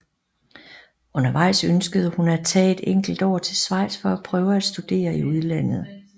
Undervejs ønskede hun at tage et enkelt år til Schweiz for at prøve at studere i udlandet